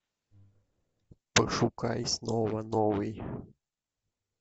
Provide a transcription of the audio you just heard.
пошукай снова новый